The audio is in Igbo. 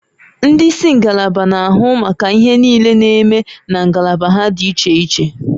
Ndị isi ngalaba na-ahụ maka ihe niile na-eme na ngalaba ha dị iche iche